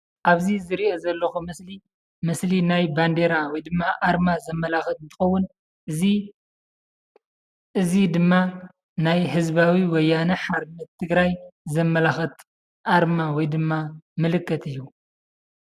አብዚ ዝሪኦ ዘለኹ ምስሊ ምስሊ ናይ ባንዴራ ወይ ድማ አርማ ዘመላኽት እንትኸውን እዚ እዚ ድማ ናይ ህዝባዊ ወያነ ሓርነት ትግራይ ዘመላኽት አርማ ወይ ድማ ምልክት እዩ።